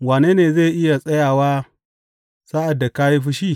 Wane ne zai iya tsayawa sa’ad da ka yi fushi?